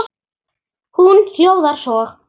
Hún hljóðar svo: